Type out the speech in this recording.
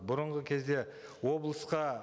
бұрынғы кезде облысқа